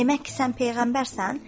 Demək ki, sən peyğəmbərsən?